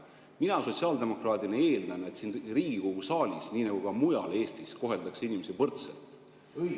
Mina sotsiaaldemokraadina eeldan, et siin Riigikogu saalis nii nagu ka mujal Eestis koheldakse inimesi võrdselt.